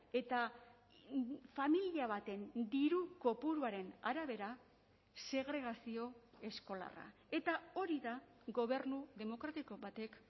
eta familia baten diru kopuruaren arabera segregazio eskolarra eta hori da gobernu demokratiko batek